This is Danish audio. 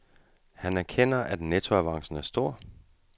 Han erkender, at nettoavancen er stor.